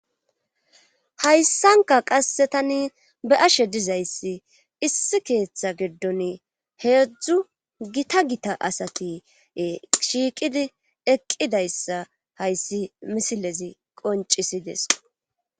Hayssanka qasse tani be ashe dizayssi issi keeththa gidon heedzdzu gita gita asati shiiqidi eqqidayssa hayssi misilezi qoncisides